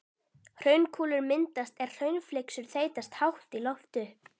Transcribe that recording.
Hraunkúlur myndast er hraunflygsur þeytast hátt í loft upp.